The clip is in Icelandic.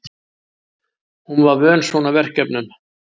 Hún var vön svona verkefnum.